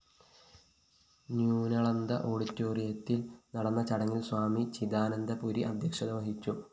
ന്യൂനളന്ദ ഓഡിറ്റോയിത്തില്‍ നടന്ന ചടങ്ങില്‍ സ്വാമി ചിദാനന്ദപുരി അദ്ധ്യക്ഷത വഹിച്ചു